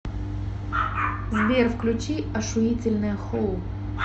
сбер включи ошуительное хоу